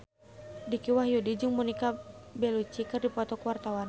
Dicky Wahyudi jeung Monica Belluci keur dipoto ku wartawan